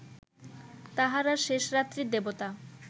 তাঁহারা শেষরাত্রির দেবতা